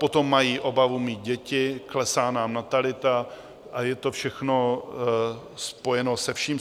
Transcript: Potom mají obavu mít děti, klesá nám natalita a je to všechno spojeno se vším.